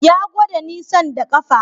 Ya gwada nisan da ƙafa